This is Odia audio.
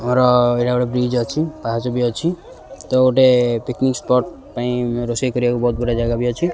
ଆମର ଏଇଟା ଗୋଟେ ବ୍ରିଜ ଅଛି ପାହାଜ ବି ଅଛି ତ ଗୋଟେ ପିକ୍ନିକ୍ ସ୍ପଟ୍ ପାଇଁ ରୋଷେଇ କରିବାକୁ ପାଇଁ ବୋହୁତ ବଢ଼ିଆ ଜାଗା ବି ଅଛି।